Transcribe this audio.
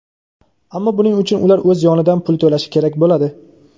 ammo buning uchun ular o‘z yonidan pul to‘lashi kerak bo‘ladi.